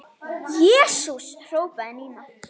Jesús hrópaði Nína.